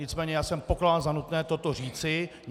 Nicméně já jsem pokládal za nutné toto říci.